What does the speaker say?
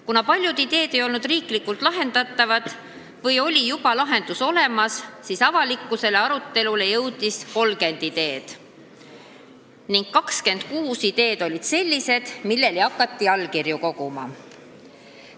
Kuna paljud ideed ei olnud riiklikult elluviidavad või oli lahendus juba olemas, siis avalikule arutelule jõudis 30 ideed ning 26 ideed olid sellised, mille toetuseks hakati allkirju koguma.